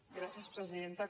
gràcies presidenta